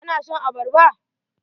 Ka na son abarbara?